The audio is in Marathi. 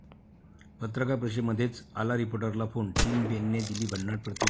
पत्रकार परिषदेमध्येच आला रिपोर्टरला फोन, टिम पेनने दिली भन्नाट प्रतिक्रिया